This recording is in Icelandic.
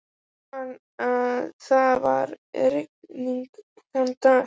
Ég man að það var rigning þann dag.